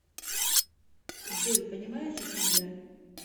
джой понимаешь о чем я